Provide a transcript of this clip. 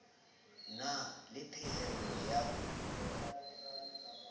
na le phehello ya ho